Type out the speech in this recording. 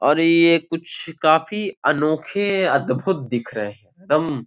और ये कुछ काफी अनोखे अद्भुत दिख रहे है दम --